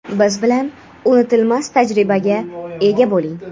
Biz bilan unutilmas tajribaga ega bo‘ling!.